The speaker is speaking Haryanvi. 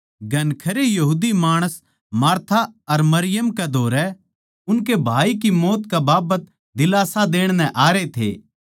घणखरे यहूदी माणस मार्था अर मरियम कै धोरै उनकै भाई की मौत कै बाबत दीलास्सा देण नै आरे थे